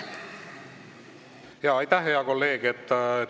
Aitäh, hea kolleeg!